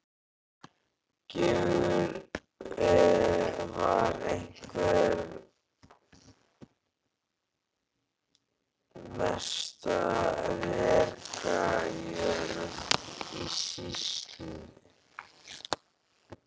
Gjögur var einhver mesta rekajörð í sýslunni.